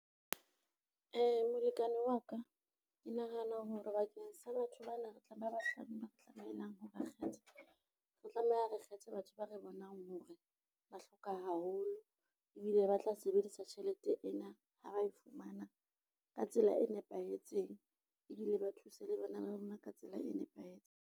Molekane wa ka, ke nahana hore bakeng sa batho ba na re tla tlameha ho ba kgetha, re tlameha re kgethe batho ba re bonang hore ba hloka haholo ebile ba tla sebedisa tjhelete ena ha ba e fumana ka tsela e nepahetseng ebile ba thuse le bana ba bona ka tsela e nepahetseng.